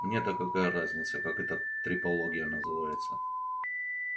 мне-то какая разница как эта трепология называется